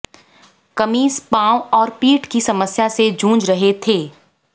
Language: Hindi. कमिंस पांव और पीठ की समस्या से जूझ रहे थे